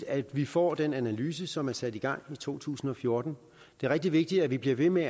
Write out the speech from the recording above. at vi får den analyse som blev sat i gang i to tusind og fjorten det er rigtig vigtigt at vi bliver ved med